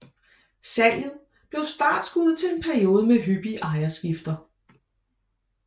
Salget blev startskuddet til en periode med hyppige ejerskifter